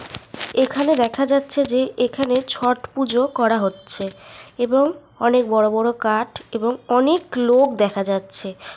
এখানে দেখা যাচ্ছে যে এখানে ছট পুজো করা হচ্ছে। এবং অনেক বড় বড় কাঠ এবং অনেক লোক দেখা যাচ্ছে।